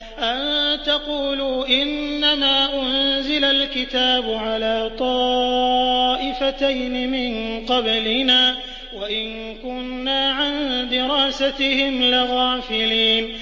أَن تَقُولُوا إِنَّمَا أُنزِلَ الْكِتَابُ عَلَىٰ طَائِفَتَيْنِ مِن قَبْلِنَا وَإِن كُنَّا عَن دِرَاسَتِهِمْ لَغَافِلِينَ